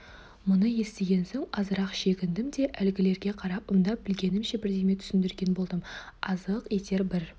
мұны естіген соң азырақ шегіндім де әлгілерге қарап ымдап білгенімше бірдеме түсіндірген болдым азық етер бір